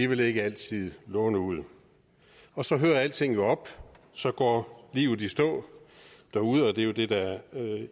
vil ikke altid låne ud og så hører alting jo op så går livet i stå derude og det er jo det der